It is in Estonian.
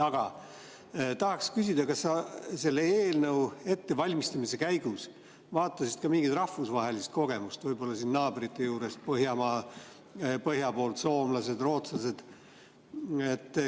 Aga tahaks küsida, kas sa selle eelnõu ettevalmistamise käigus vaatasid ka mingit rahvusvahelist kogemust – võib-olla siin naabrite juurest, põhja poolt, soomlased, rootslased.